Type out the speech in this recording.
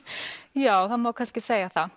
já það má kannski segja það